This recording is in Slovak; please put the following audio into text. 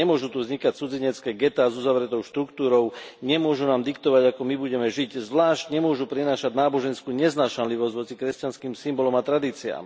Nemôžu tu vznikať cudzinecké getá s uzavretou štruktúrou, nemôžu nám diktovať, ako my budeme žiť, zvlášť nemôžu prinášať náboženskú neznášanlivosť voči kresťanským symbolom a tradíciám.